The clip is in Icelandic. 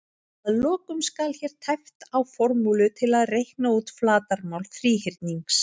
Að lokum skal hér tæpt á formúlu til að reikna út flatarmál þríhyrnings: